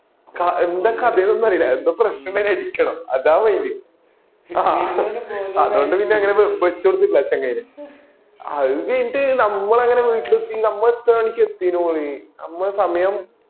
എന്താ കഥ ഒന്നും അറിയൂല എന്താ പ്രശ്‌നം ഇങ്ങനെ ഇരിക്കണം അതാ main ആ അതോണ്ട് പിന്നാ ഇങ്ങനെ വെച്ചോടത്തില്ല ചെങ്ങായീനെ അയിന്റെ എടക്ക് നമ്മള് എങ്ങന വീട്ടില് എത്തി മ്മള് എത്ര മണിക്ക എത്യ തോന്നുന്നു മ്മള് സമയം